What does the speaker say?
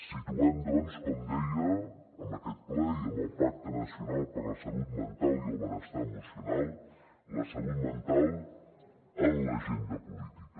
situem doncs com deia en aquest ple i en el pacte nacional per la salut mental i el benestar emocional la salut mental en l’agenda política